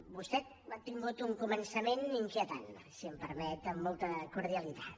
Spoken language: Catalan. vostè ha tingut un començament inquietant si em permet amb molta cordialitat